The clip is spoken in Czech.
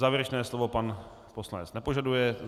Závěrečné slovo pan poslanec nepožaduje.